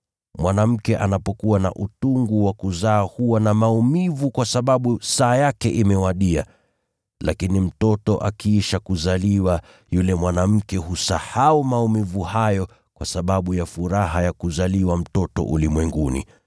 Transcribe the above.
Mwanamke anapokuwa na utungu wa kuzaa huwa na maumivu kwa sababu saa yake imewadia. Lakini mtoto akiisha kuzaliwa, yule mwanamke husahau maumivu hayo kwa sababu ya furaha ya kuzaliwa mtoto ulimwenguni.